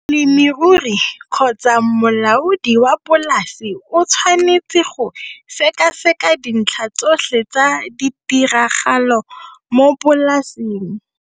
Molemirui kgotsa molaodi wa polase o tshwanetse go sekaseka dintlha tsotlhe tsa ditiragalo mo polaseng.